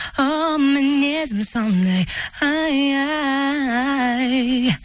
оу мінезім сондай ай ай